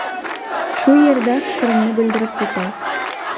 Shu yerda fikrimni bildirib ketay.